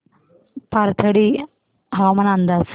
पाथर्डी हवामान अंदाज